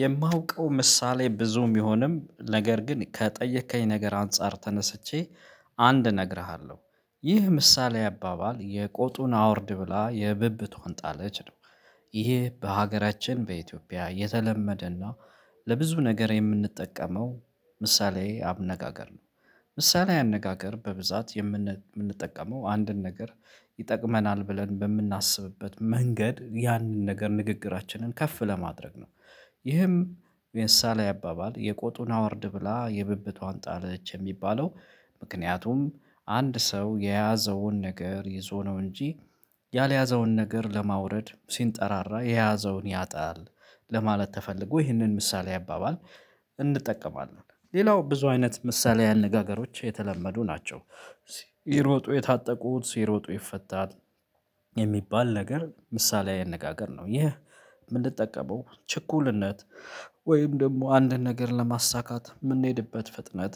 የማውቀው ምሳሌ ብዙም ቢሆንም ነገር ግን ከጠየከኝ ነገር አንፃር ተነስቼ አንድ እነግርሃለሁ ይህ ምሳሌ አባባል የቆጡን አውርድ ብላ የብብቷን ጣለች ነው። ይሄ በሀገራችን በኢትዮጵያ የተለመደና ለብዙ ነገር የምንጠቀመው ምሳሌዊ አነጋገር ነው። ምሳሌዊ አነጋገር በብዛት የምንጠቀመው አንድን ነገር ይጠቅመናል ብለን በምናስብበት መንገድ ያንን ነገር ንግግራችንን ከፍ ለማድረግ ነው። ይህም ምሳሌዊ አባባል የቆጡን አወርድ ብላ የብብቷን ጣለች የሚባለው። ምክንያቱም አንድ ሰው የያዘውን ነገር ይዞ ነው እንጂ ያልያዘውን ነገር ለማውረድ ሲንጠራራ የያዘውን ያጣል። ለማለት ተፈልጎ ይህንን ምሳሌ አባባል እንጠቀማለን። ሌላው ብዙ አይነት ምሳሌ አነጋገሮች የተለመዱ ናቸው። ሲሮጡ የታጠቁት ሲሮጡ ይፈታል የሚባል ነገር ምሳሌ አነጋገር ነው። ይህ የምንጠቀመው ችኩልነት ወይም ደግሞ አንድን ነገር ለማሳካት የምንሄድበት ፍጥነት